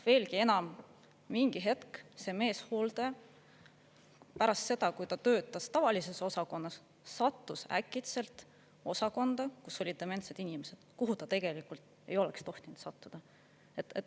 Veelgi enam, mingi hetk see meeshooldaja pärast seda, kui ta töötas tavalises osakonnas, sattus äkitselt osakonda, kus olid dementsed inimesed, kuhu ta tegelikult ei oleks tohtinud sattuda.